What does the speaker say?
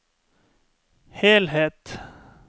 helhet